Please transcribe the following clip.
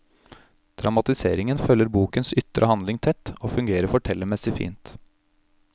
Dramatiseringen følger bokens ytre handling tett og fungerer fortellermessig fint.